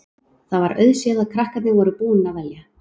Það var auðséð að krakkarnir voru búnir að velja.